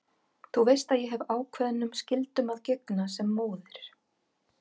Þú veist að ég hef ákveðnum skyldum að gegna sem móðir.